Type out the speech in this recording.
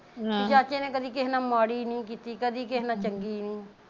ਚਾਚੇ ਨੇ ਕਦੀ ਕਿਹੇ ਨਾਲ ਮਾੜੀ ਨੀ ਕੀਤੀ ਕਦੀ ਕਿਹੇ ਨਾਲ ਚੰਗੀ ਨੀ